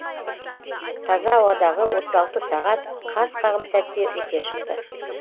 таза ауадағы отыз алты сағат қас қағым сәтте өте шықты